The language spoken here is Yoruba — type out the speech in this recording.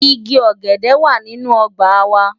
Igi ọ̀gẹ̀dẹ̀ wà nínú ọgbà wa.